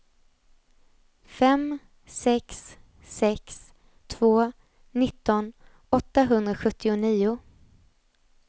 fem sex sex två nitton åttahundrasjuttionio